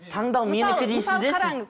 таңдау менікі дейсіз де сіз